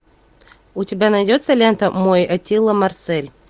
у тебя найдется лента мой аттила марсель